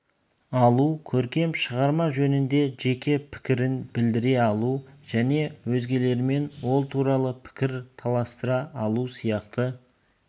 алу көркем шығарма жөнінде жеке пікірін білдіре алу және өзгелермен ол туралы пікір таластыра алу сияқты